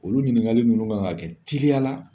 Olu ɲininkali ninnu kan ka kɛ teliya la